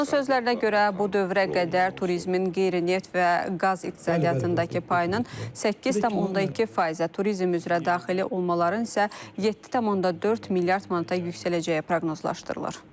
Onun sözlərinə görə bu dövrə qədər turizmin qeyri-neft və qaz iqtisadiyyatındakı payının 8,2%-ə, turizm üzrə daxil olmaların isə 7,4 milyard manata yüksələcəyi proqnozlaşdırılır.